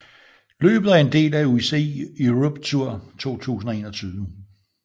Løbet er en del af UCI Europe Tour 2021